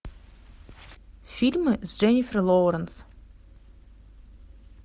фильмы с дженнифер лоуренс